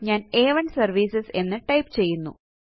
ഞാന് a1സെർവിസസ് എന്ന് ടൈപ്പ് ചെയ്യുന്നു